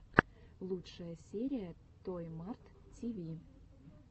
лучшая серия той март ти ви